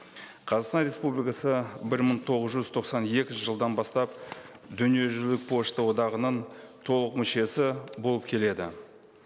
қазақстан республикасы бір мың тоғыз жүз тоқсан екінші жылдан бастап дүниежүзілік пошта одағының толық мүшесі болып келеді